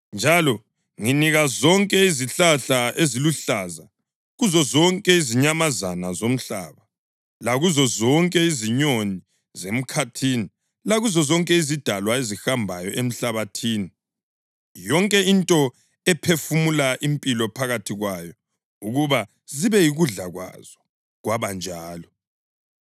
Njalo nginika zonke izihlahla eziluhlaza kuzozonke izinyamazana zomhlaba lakuzo zonke izinyoni zemkhathini lakuzo zonke izidalwa ezihambayo emhlabathini, yonke into ephefumula impilo phakathi kwayo ukuba zibe yikudla kwazo.” Kwabanjalo.